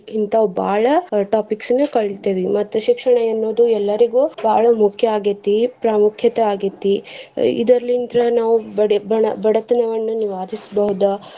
ಇನ್ತಾವ್ ಬಾಳ topics ನ ಕಲಿತಿವಿ. ಮತ್ತ್ ಶಿಕ್ಷಣ ಎನ್ನುದು ಎಲ್ಲರ್ಗು ಬಾಳ ಮುಖ್ಯ ಆಗೇತಿ ಪ್ರಾಮುಖ್ಯತೆ ಆಗೆತಿ. ಇದ್ರಲಿಂತ್ರ ನಾವ್ ಬಡ~ ಬಡತನವನ್ನ ನಿವಾರಿಸಬಹುದು.